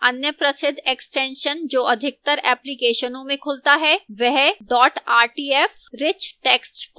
अन्य प्रसिद्ध extension जो अधिकतर applications में खुलता है वह dot rtf rich text format है